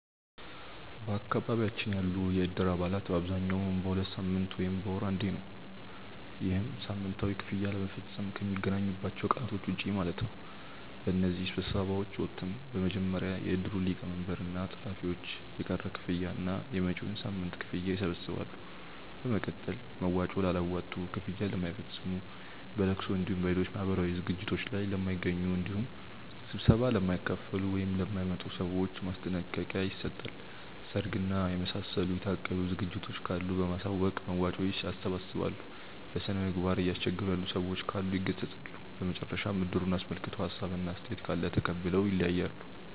በአካባቢያችን ያሉ የእድር አባላት በአብዛኛው በሁለት ሳምንት ወይም በወር አንዴ ነው። ይህም ሳምንታዊ ክፍያ ለመፈፀም ከሚገናኙባቸው ቀናቶች ውጪ ማለት ነው። በእነዚህ ስብሰባዎች ወቅትም በመጀመሪያ የእድሩ ሊቀመንበር እና ፀሀፊዎች የቀረ ክፍያ እና የመጪዉን ሳምንት ክፍያ ይሰበስባሉ። በመቀጠል መዋጮ ላላዋጡ፣ ክፍያ ለማይፈፅሙ፣ በለቅሶ እንዲሁም በሌሎች ማህበራዊ ዝግጅቶት ላይ ለማይገኙ እንዲሁም ስብሰባ ለማይካፈሉ ( ለማይመጡ) ሰዎች ማስጠንቀቂያ ይሰጣል። ሰርግ እና የመሳሰሉ የታቀዱ ዝግጅቶች ካሉ በማሳወቅ መዋጮ ያሰባስባሉ። በስነምግባር እያስቸገሩ ያሉ ሰዎች ካሉ ይገሰፃሉ። በመጨረሻም እድሩን አስመልክቶ ሀሳብ እና አስተያየት ካለ ተቀብለው ይለያያሉ።